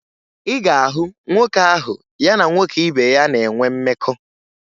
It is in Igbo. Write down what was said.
Ị ga-ahụ nwoke ahụ ya na-nwoke ibe ya na-enwe mmekọ